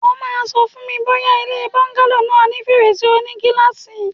O máa Sọ fún mi bóyá ilé bọ́ńgálò náà ní fèrèsé oní gíláàsì.!